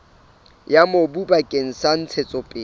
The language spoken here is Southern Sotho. ya mobu bakeng sa ntshetsopele